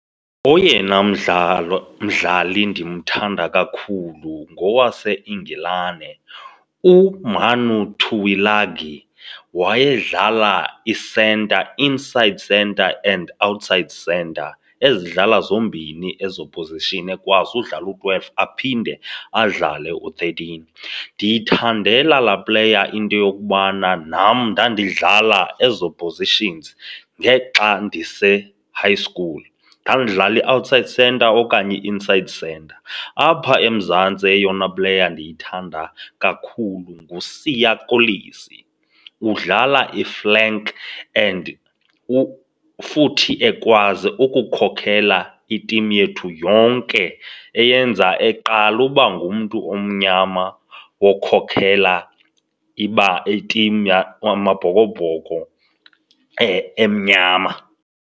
Oyena mdlalo, mdlali ndimthanda kakhulu ngowaseIngilane uManu Tuilagi. Wayedlala isenta, inside centre and outside centre, ezidlala zombini ezo phozishini, ekwazi udlala u-twelve aphinde adlale u-thirteen. Ndiyithandela laa pleya into yokubana nam ndandidlala ezo positions ngexa ndise-high school, ndandidlala i-outside centre okanye i-inside centre. Apha eMzantsi eyona pleya ndiyithanda kakhulu nguSiya Kolisi. Udlala iflank and futhi ekwazi ukukhokela itimu yethu yonke, eyenza eqala uba ngumntu omnyama Wokhokela itimu amaBhokoBhoko emnyama.